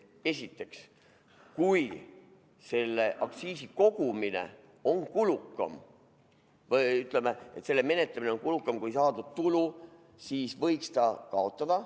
Esiteks, kui selle aktsiisi kogumine on kulukam või, ütleme, selle menetlemine on kulukam kui saadud tulu, siis võiks selle kaotada.